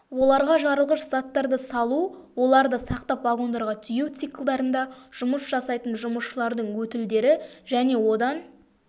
оларға жарылғыш заттарды салу оларды сақтап вагондарға тиеу циклдарында жұмыс жасайтын жұмысшылардың өтілдері және одан